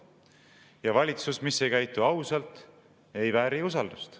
Ja valitsus, mis ei käitu ausalt, ei vääri usaldust.